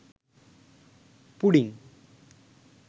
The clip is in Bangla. পুডিং